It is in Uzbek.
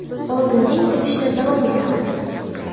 Oldinga intilishda davom etamiz!